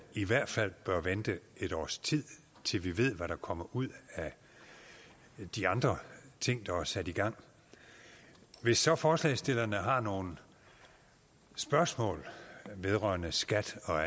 i hvert fald bør vente et års tid til vi ved hvad der kommer ud af de andre ting der er sat i gang hvis så forslagsstillerne har nogle spørgsmål vedrørende skat og